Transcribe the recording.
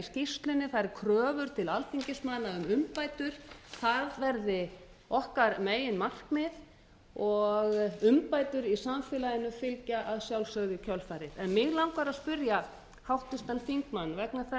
skýrslunni það eru kröfur til alþingismanna um umbætur það verði okkar meginmarkmið og umbætur í samfélaginu fylgja að sjálfsögðu í kjölfarið mig langar að spyrja háttvirtan þingmann vegna þess